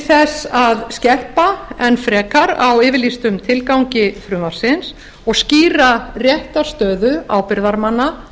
þess að skerpa enn frekar á yfirlýstum tilgangi frumvarpsins og skýra réttarstöðu ábyrgðarmanna